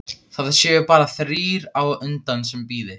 Það séu bara þrír á undan sem bíði.